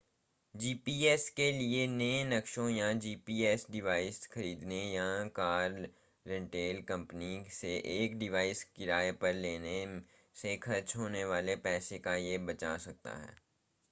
GPS के लिए नए नक़्शों या जीपीएस डिवाइस खरीदने या कार रेंटल कंपनी से एक डिवाइस किराए पर लेने से खर्च होने वाले पैसों को यह बचा सकता है